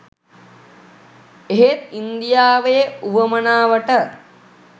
එහෙත් ඉන්දියාවේ උවමනාවට